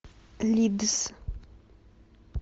лидс